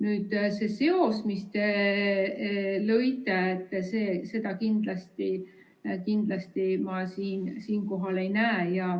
Nüüd, see seos, mis te lõite, seda kindlasti ma siinkohal ei näe.